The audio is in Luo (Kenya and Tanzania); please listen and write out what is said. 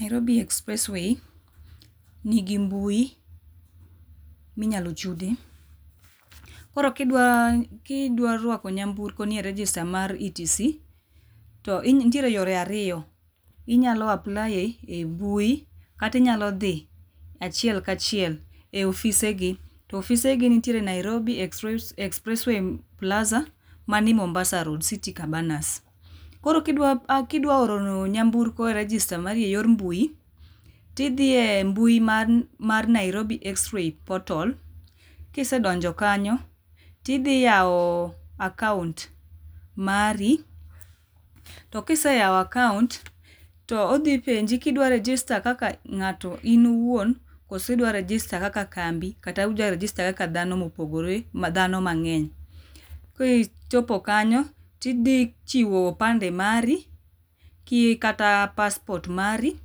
Nairobi expressway nigi mbui minyalo chude, koro kidwa ,kidwa rwako nyamburko e register mar ETC nitiere yore ariyo, inyalo apply e mbui kata inyalo dhi achiel kachiel e ofise gi, to ofise gi nitie Nairobi Expressway plaza manie Mombasa road, city Cabanas. Koro kidwa oro nyamburko e register marie yor mbui tidhiye mbui mar Nairobi expressway portal, kisedonjo kanyo tihi yao akaunt mari to kiseyao akaunt to odhi penji kidwa register kaka ng'ato in iwuon koso idwa register kata kambi kata udwa register kaka dhano mopogore, dhano mangeny. Kichopo kanyo to idhi chiwo opande mari kata passport mari